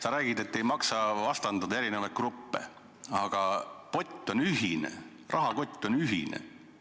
Sa räägid, et ei maksa vastandada eri gruppe, aga pott on ühine, rahakott on ühine.